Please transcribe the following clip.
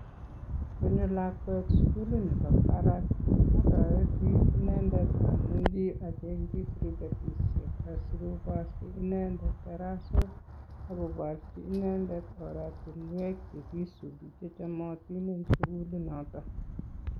Ngonyo lakwet sugulit nebo barak ii, otoreti inendet amuchi acheng'chi prifetishek asikoborchi inendet tarasok ak koborji inendet oratinwek che kiisubi che chomotin en sugulinoto.